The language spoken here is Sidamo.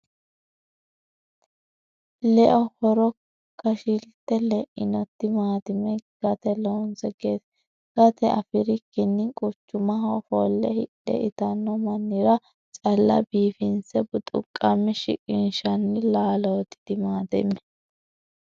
Leo horo kashi'lite leino timatime gate loonse gate afirikkini quchumaho ofolle hidhe itano mannira calla biifinse buxuqame shiqqinshanni laaloti timatime